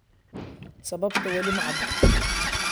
Sababta wali ma cadda.